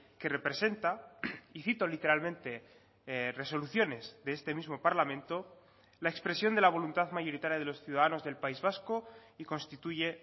que representa y cito literalmente resoluciones de este mismo parlamento la expresión de la voluntad mayoritaria de los ciudadanos del país vasco y constituye